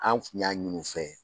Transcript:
An tun y'a ɲini u fɛ